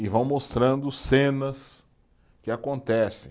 E vão mostrando cenas que acontecem.